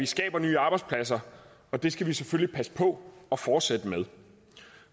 skaber nye arbejdspladser og det skal vi selvfølgelig passe på og fortsætte med